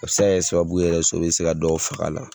A bɛ se ka kɛ sababu ye yɛrɛ sɔ bɛ se ka dɔw fag'a la.